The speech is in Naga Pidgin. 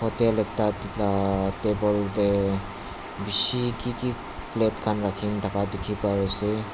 tel ekta tina table tae bishi kiki plate khan rakhina thaka dikhipaiase.